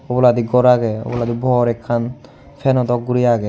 oboladi gor aagey oboladi bor ekkan fanow dock guri aagey.